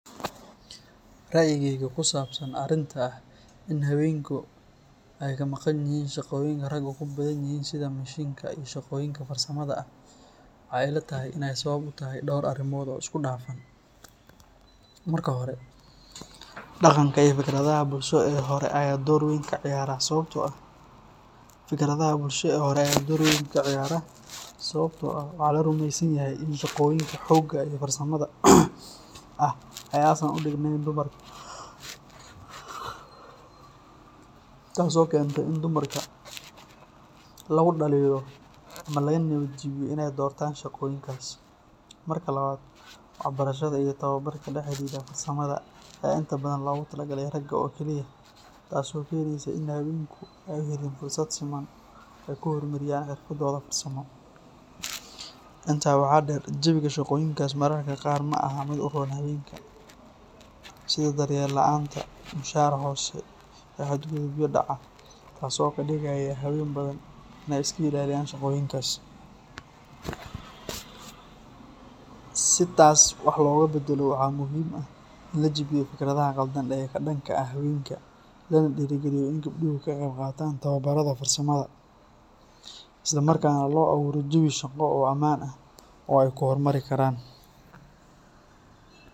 Ra’yigayga ku saabsan arrinta ah in haweenku ay ka maqanyihiin shaqooyinka raggu ku badanyihiin sida mishiinka iyo shaqooyinka farsamada ah, waxay ila tahay in ay sabab u tahay dhowr arrimood oo isku dhafan. Marka hore, dhaqanka iyo fikradaha bulsho ee hore ayaa door weyn ka ciyaara, sababtoo ah waxaa la rumaysan yahay in shaqooyinka xoogga iyo farsamada ah aysan u dhignayn dumarka, taasoo keentay in dumarka lagu dhaliilo ama laga niyad jabiyo inay doortaan shaqooyinkaas. Marka labaad, waxbarashada iyo tababarka la xidhiidha farsamada ayaa inta badan loogu talagalay ragga oo kaliya, taasoo keenaysa in haweenku ay helin fursado siman oo ay ku horumariyaan xirfadooda farsamo. Intaa waxaa dheer, jawiga shaqooyinkaasi mararka qaar ma ahan mid u roon haweenka, sida daryeel la’aanta, mushahar hoose, iyo xadgudubyo dhaca, taasoo ka dhigaysa haween badan inay iska ilaaliyaan shaqooyinkaas. Si taas wax looga beddelo, waxaa muhiim ah in la jabiyo fikradaha qaldan ee ka dhanka ah haweenka, lana dhiirrigeliyo in gabdhuhu ka qayb qaataan tababarrada farsamada, isla markaana loo abuuro jawi shaqo oo ammaan ah oo ay ku horumari karaan.